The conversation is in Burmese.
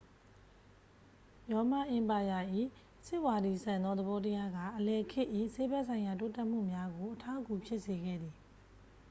ရောမအင်ပါယာ၏ စစ်ဝါဒီဆန်သော သဘောတရားက အလယ်ခေတ်၏ ဆေးဘက်ဆိုင်ရာ တိုးတက်မှုများကို အထောက်အကူဖြစ်စေခဲ့သည်